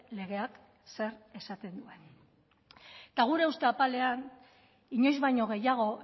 legeak zer esaten duen eta gure uste apalean inoiz baino gehiago